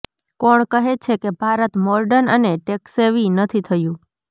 કોણ કહે છે કે ભારત મોર્ડન અને ટેક્સેવી નથી થયું